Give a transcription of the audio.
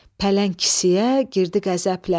Pələng kisəyə girdi qəzəblə.